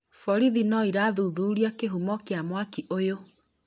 Borithi no irathuthuria kĩhumo kĩa mwaki ũyũ